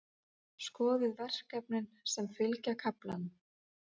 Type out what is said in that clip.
Skoðið verkefnin sem fylgja kaflanum.